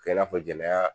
Kɛ i n'a fɔ jɛnɛya